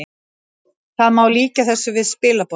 Það má líkja þessu við spilaborg